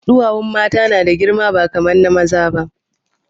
Ɗuwawun mata yana da girma ba kaman na maza ba